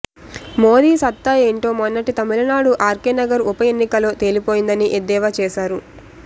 మోదీ సత్తా ఏంటో మొన్నటి తమిళనాడు ఆర్కేనగర్ ఉప ఎన్నికలో తేలిపోయిందని ఎద్దేవా చేశారు